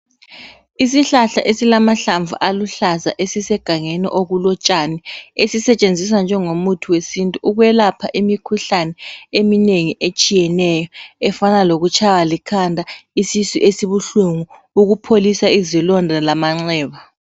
Isihlahla esilamahlamvu aluhlaza esisegangeni okulotshani, esisetshenziswa njengo muthi wesintu ukwelapha imikhuhlane eminengi etshiyeneyo, efana lokutshaywa likhanda, isisu esibuhlungu ukupholisa izilonda lamanxeba.